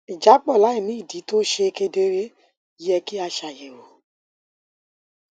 ìjápọ láìní ìdí tó ṣe kedere yẹ kí a ṣàyèwò